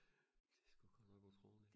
det sku godt nok utroligt